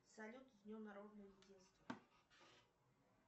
салют с днем народного единства